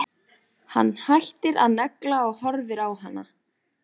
Hann hættir að negla og horfir á hana.